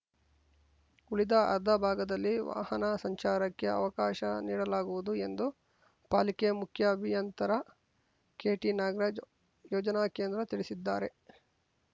ಉಳಿದ ಅರ್ಧ ಭಾಗದಲ್ಲಿ ವಾಹನ ಸಂಚಾರಕ್ಕೆ ಅವಕಾಶ ನೀಡಲಾಗುವುದು ಎಂದು ಪಾಲಿಕೆ ಮುಖ್ಯ ಅಭಿಯಂತರ ಕೆಟಿನಾಗರಾಜ್‌ ಯೋಜನಾ ಕೇಂದ್ರ ತಿಳಿಸಿದ್ದಾರೆ